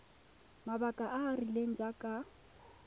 mabaka a a rileng jaaka